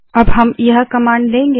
अब हम यह कमांड देंगे